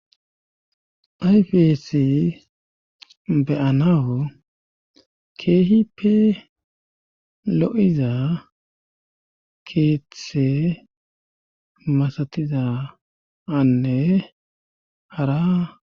ayfesi beyanawu keehipe lo7iza keeththe masatiza anne hara